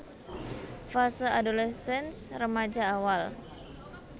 Fase Adolescence Remaja Awal